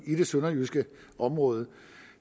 i det sønderjyske område